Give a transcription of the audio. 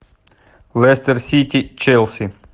лестер сити челси